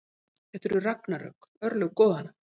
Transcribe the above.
Þetta eru ragnarök, örlög goðanna.